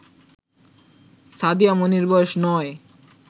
সাদিয়া মনির বয়স ৯